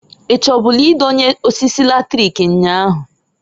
I chọbụlụ idonye osisi latrik nnyaa ahu?